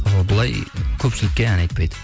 ал былай көпшілікке ән айтпайды